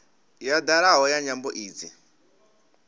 ya dalaho ya nyambo idzi